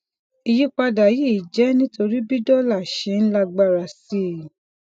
ìyípadà yìí jẹ nítorí bí dólà ṣe ń lágbára sí i